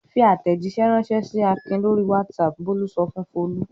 "Fi àtẹ̀jíṣẹ́ ránṣẹ́ sí Akin lórí WhatsApp!" Bólú sọ fún Folú.